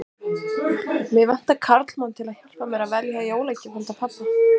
Mig vantar karlmann til að hjálpa mér að velja jólagjöf handa pabba